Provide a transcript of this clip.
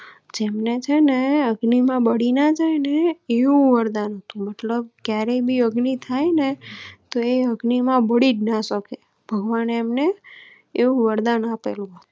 જેમને ચેને અગ્નિ માં બળી ના જાય એવું વરદાન હતું મતલબ ક્યારેય ભી અગ્નિ થાય ને તો એ અગ્નિ માં બાળીજ ના શકેભગવાન એમ ને એવું વરદાન આપેલું.